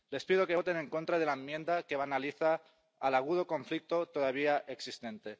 Les pido que voten en contra de la enmienda que banaliza el agudo conflicto todavía existente.